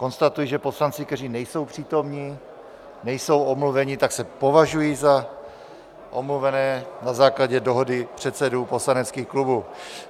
Konstatuji, že poslanci, kteří nejsou přítomni, nejsou omluveni, tak se považují za omluvené na základě dohody předsedů poslaneckých klubů.